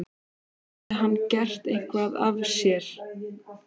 Hafði hann gert eitthvað af sér?